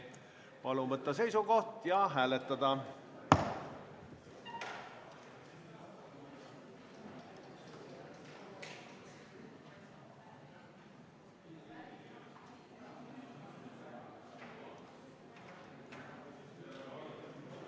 Palun võtta seisukoht ja hääletada!